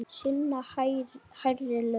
Sunna: Hærri laun?